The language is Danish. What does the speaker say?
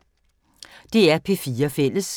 DR P4 Fælles